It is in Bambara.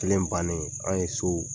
Kelen bannen anw ye so